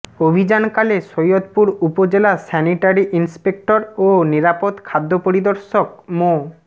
অভিযানকালে সৈয়দপুর উপজেলা sanitary inspector ও নিরাপদ খাদ্য পরিদর্শক মো